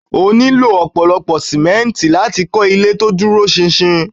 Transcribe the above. O nílò ọ̀pọ̀lọ́pọ̀ sìmẹ́ǹtì láti kọ́ ilé to dúró ṣinṣin.